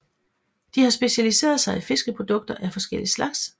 De har specialiseret sig i fiskeprodukter af forskellig slags